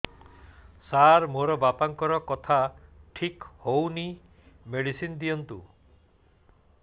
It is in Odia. ସାର ମୋର ବାପାଙ୍କର କଥା ଠିକ ହଉନି ମେଡିସିନ ଦିଅନ୍ତୁ